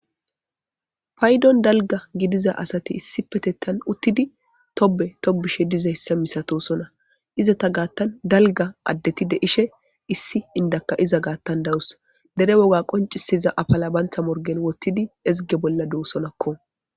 Paydon dalga gidiza asati issi petettan uttidi tobe tobishe dizayssa misatosona izata gaattan dalga addetide ishe issi indakka iza gaattan dawus dere woga qoncisiza afala bantha morgen wottidi ezge bolla doosonakko.